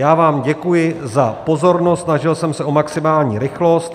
Já vám děkuji za pozornost, snažil jsem se o maximální rychlost.